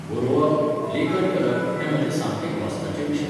बरोवप, लेखन करप हे म्हजे सामके घोस्ताचे विशय